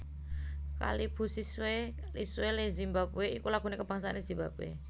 Kalibusiswe Ilizwe leZimbabwe iku lagu kabangsané Zimbabwe